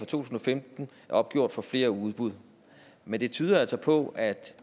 tusind og femten er opgjort for flere udbud men det tyder altså på at